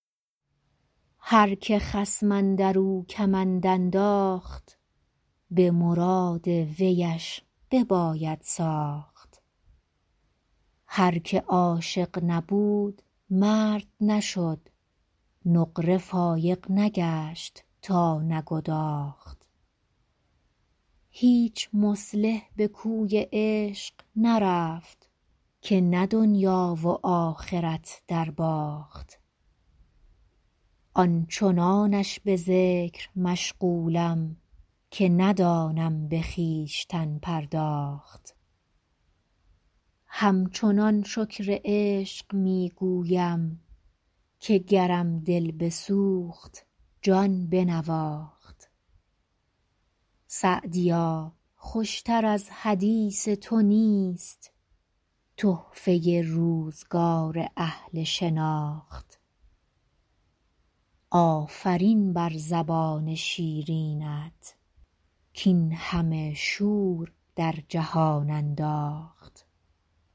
هر که خصم اندر او کمند انداخت به مراد ویش بباید ساخت هر که عاشق نبود مرد نشد نقره فایق نگشت تا نگداخت هیچ مصلح به کوی عشق نرفت که نه دنیا و آخرت درباخت آن چنانش به ذکر مشغولم که ندانم به خویشتن پرداخت همچنان شکر عشق می گویم که گرم دل بسوخت جان بنواخت سعدیا خوش تر از حدیث تو نیست تحفه روزگار اهل شناخت آفرین بر زبان شیرینت کاین همه شور در جهان انداخت